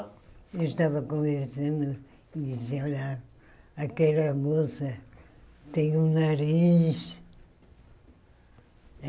Eu estava conversando e disse, olha, aquela moça tem um nariz.